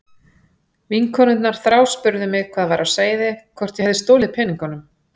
Vinkonurnar þráspurðu mig hvað væri á seyði, hvort ég hefði stolið peningunum.